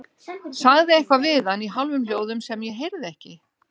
Sagði eitthvað við hann í hálfum hljóðum sem ég heyrði ekki.